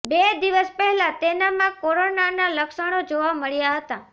બે દિવસ પહેલા તેનામાં કોરોનાના લક્ષણો જોવા મળ્યા હતા